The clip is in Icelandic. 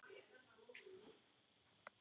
Þannig gengur þetta upp.